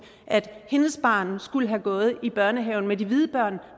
at hendes barn skulle have gået i børnehaven med de hvide børn